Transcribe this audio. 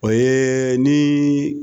O ye ni